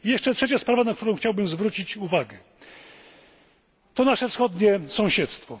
Trzecią sprawą, na którą chciałbym zwrócić uwagę jest nasze wschodnie sąsiedztwo.